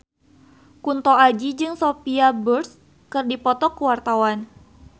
Kunto Aji jeung Sophia Bush keur dipoto ku wartawan